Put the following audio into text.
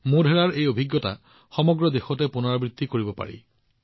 মোধেৰাৰ অভিজ্ঞতা সমগ্ৰ দেশতে পুনৰাবৃত্তি কৰিব পাৰি